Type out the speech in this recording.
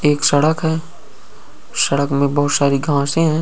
एक सड़क है सड़क में बहुत सारी घासें हैं।